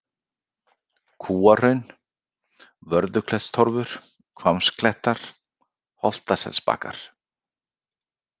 Kúahraun, Vörðuklettstorfur, Hvammaklettar, Holtaselsbakkar